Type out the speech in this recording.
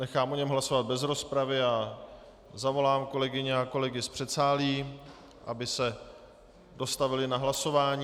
Nechám o něm hlasovat bez rozpravy a zavolám kolegyně a kolegy z předsálí, aby se dostavili na hlasování.